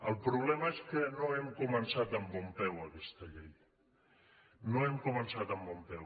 el problema és que no hem començat amb bon peu aquesta llei no hem començat amb bon peu